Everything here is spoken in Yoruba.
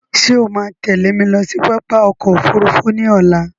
Ṣé o máa tẹ́lẹ̀ mi lọ sí pápá ọkọ òfúrúúfú ní ọ̀la?